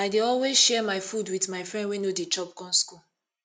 i dey always share my food wit my friend wey no dey chop come skool